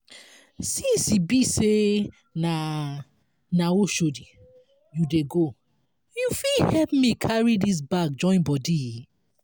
since e be sey na na oshodi you dey go you fit help me carry dis bag join body?